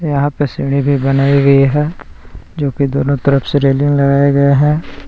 यहां पे सीढ़ी भी बनाई हुई है जो कि दोनों तरफ से रेलिंग लगाया गया है।